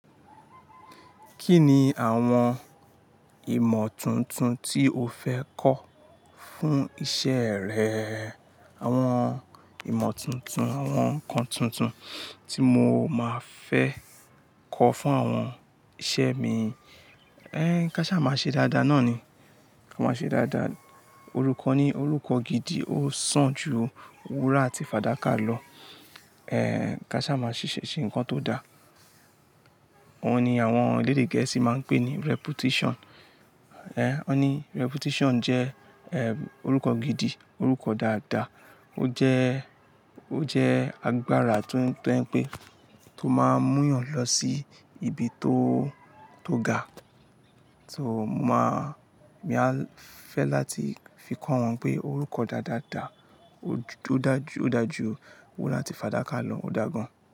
Kí ni àwọn ìmọ̀ tuntun tí o fẹ́ kọ́ fún iṣẹ́ rẹ? Àwọn ìmọ̀ tuntun, àwọn nǹkan tuntun tí mo máa fẹ́ kọ́ fún àwọn iṣẹ́ mi. Kaṣá má ṣe dáadáa náà ni. Ka má ṣe dáadáa. Orúkọ ni orúkọ gidi, ó sàn ju wúrà àti fàdákà lọ. Kaṣá má ṣiṣẹ́ ṣe nǹkan tó da. Óun ni àwọn elédè Gẹ̀ẹ́sì máa ń pè ní reputation. Wọ́n ni reputation jẹ́ ẹ̀, orúkọ gidi, orúkọ dáadáa. Ó jẹ́ agbára tó ń pe, tó máa mú eeyàn lọ sí ibi tó, tó ga. Má, mi mo n fẹ́ láti fi kọ́ wọn pé orúkọ dáadáa dà, ó dà jú wúrà àti fàdákà lọ, ó dà gan.